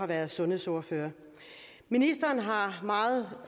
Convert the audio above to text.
været sundhedsordfører ministeren har meget